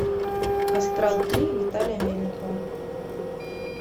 астрал три виталия мельникова